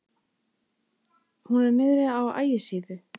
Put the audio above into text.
Hún er niðri á Ægisíðu.